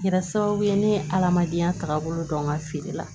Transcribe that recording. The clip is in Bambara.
Kɛra sababu ye ne ye adamadenya tagabolo dɔn n ka feere la